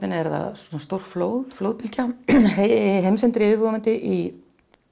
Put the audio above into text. er það stórflóð flóðbylgja heimsendir yfirvofandi í